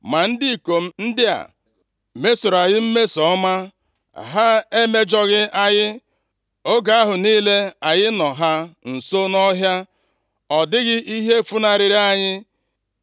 Ma ndị ikom ndị a + 25:15 Ndị a bụ ụmụ okorobịa na-ejere Devid ozi. mesoro anyị mmeso ọma, ha emejọghị anyị. Oge ahụ niile anyị nọ ha nso nʼọhịa ọ dịghị ihe funarịrị anyị.